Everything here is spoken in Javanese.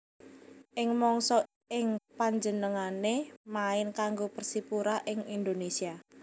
Ing mangsa ing panjenengané main kanggo Persipura ing Indonesia